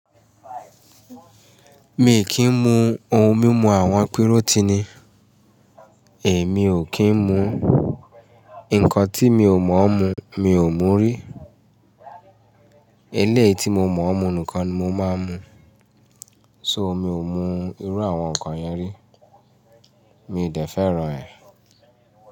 Mi kì í mu ohun mímu àwọn pírótínì, èmi o kín mú, nkán ti mi o mo mu, mi o mú rí. Eléyìí ti mo mọ̀ ọ́n mú nìkan mo máa ń mu. So mi ò mú irú àwọn nkán yẹn rí. Mi ò dẹ́ fẹ́ràn ẹ.